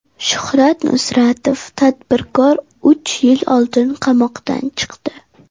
Shuhrat Nusratov, tadbirkor, uch yil oldin qamoqdan chiqdi.